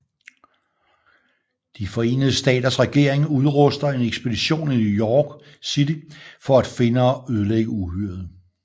De Forenede Staters regering udruster en ekspedition i New York City for at finde og ødelægge uhyret